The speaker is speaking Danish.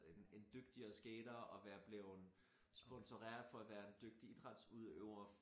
En en dygtigere skater og være bleven sponsoreret for at være en dygtig idrætsudøver